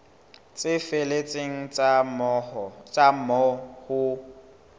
tse felletseng tsa moo ho